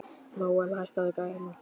Nóel, hækkaðu í græjunum.